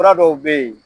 Fura dɔw bɛ yen